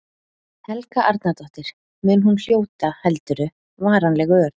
Helga Arnardóttir: Mun hún hljóta, heldurðu, varanleg ör?